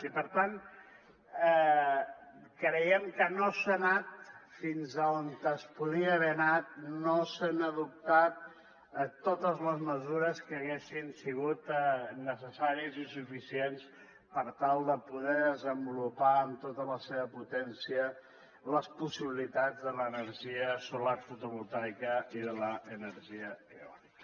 i per tant creiem que no s’ha anat fins on es podia haver anat no s’han adoptat totes les mesures que haguessin sigut necessaris i suficients per tal de poder desenvolupar amb tota la seva potència les possibilitats de l’energia solar fotovoltaica i de l’energia eòlica